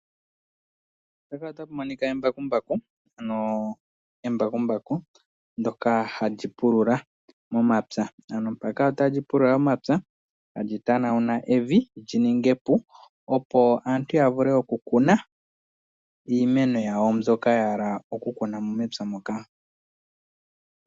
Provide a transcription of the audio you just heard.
Embakumbaku ndyoka hali pulula momapya tali pulula momapya tali tanawuna evi lyi ninge epu, opo aantu ya vule oku kuna mo iimeno yawo mbyoka ya hala.